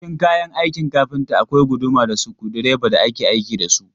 Cikin kayan aikin kafinta akwai guduma da sukudireba da ake aiki da su.